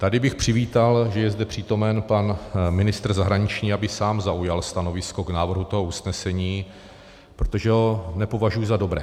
Tady bych přivítal, že je zde přítomen pan ministr zahraničí, aby sám zaujal stanovisko k návrhu toho usnesení, protože ho nepovažuji za dobré.